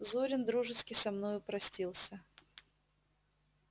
зурин дружески со мною простился